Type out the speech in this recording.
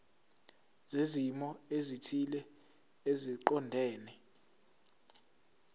zezimo ezithile eziqondene